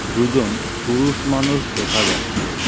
দুজন পুরুষ মানুষ দেখা যাচ্ছে।